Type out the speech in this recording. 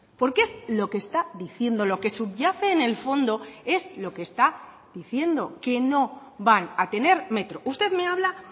porque es lo que está diciendo lo que subyace en el fondo es lo que está diciendo que no van a tener metro usted me habla